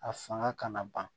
A fanga ka na ban